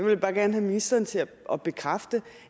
jeg bare gerne have ministeren til at bekræfte